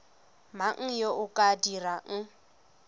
mang yo o ka dirang